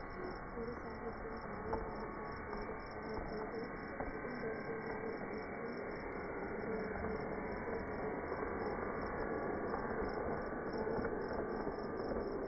குரு சாகிப் காலில் விழுந்து பண்டையக்கா இப்பொழுது உங்கள் சேனாகிய படைக்கும் நேரம் வந்துவிட்டது பந்தன் கூறினான் வாழ்வில